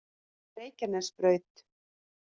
Reykjanesbraut